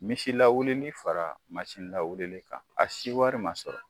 Misi lawuli fara lawuli kan a si wari man sɔrɔ.